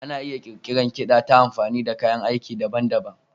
Ana iya ƙirƙirar kiɗa ta amfani da kayan aiki daban-daban.